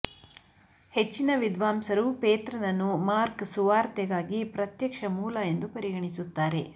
ಹೆಚ್ಚಿನ ವಿದ್ವಾಂಸರು ಪೇತ್ರನನ್ನು ಮಾರ್ಕ್ ಸುವಾರ್ತೆಗಾಗಿ ಪ್ರತ್ಯಕ್ಷ ಮೂಲ ಎಂದು ಪರಿಗಣಿಸುತ್ತಾರೆ